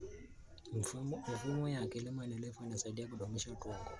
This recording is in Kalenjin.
Mifumo ya kilimo endelevu inasaidia kudumisha udongo.